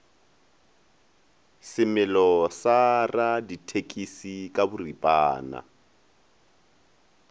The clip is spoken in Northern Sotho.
semelo sa radithekisi ka boripana